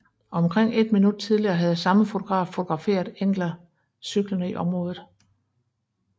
Omkring et minut tidligere havde samme fotograf fotograferet Engla cyklende i området